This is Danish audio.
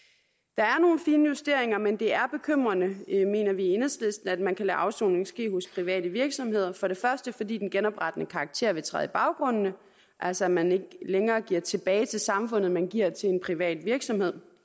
der er nogle finjusteringer men det er bekymrende mener vi i enhedslisten at man kan lade afsoning ske hos private virksomheder for det første fordi den genoprettende karakter vil træde i baggrunden altså at man ikke længere giver tilbage til samfundet men giver til en privat virksomhed